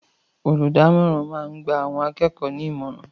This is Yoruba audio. Olùdámọ̀ràn máa ń gba àwọn akẹ́kọ̀ọ́ ní ìmọ̀ràn